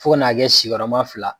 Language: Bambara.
Fo k'a na kɛ sigi yɔrɔma fila.